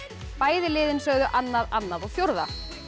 bæði liðin sögðu annað annað og fjórða